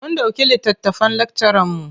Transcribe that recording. Mun ɗauki littattafan lakcaranmu.